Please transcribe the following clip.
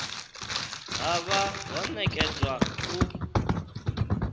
ha vha ho nekedzwa u